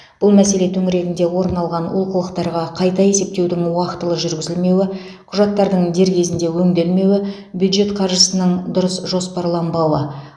бұл мәселе төңірегінде орын алған олқылықтарға қайта есептеудің уақытылы жүргізілмеуі құжаттардың дер кезінде өңделмеуі бюджет қаржысының дұрыс жоспарланбауы